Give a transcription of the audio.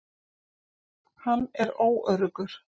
Hann er óöruggur.